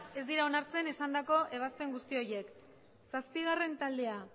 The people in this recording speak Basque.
ez dira onartzen esandako ebazpen guzti horiek zazpigarren taldea